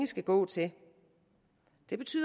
skal gå til det betyder